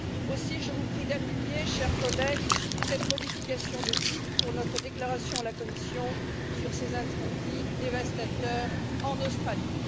Aussi, je vous prie d'appuyer, chers collègues, cette modification de titre pour notre déclaration à la Commission sur ces incendies dévastateurs en Australie.